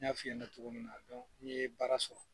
N ɲa f'i ɲɛna togo min na, a dɔn n'i ye baara sɔrɔ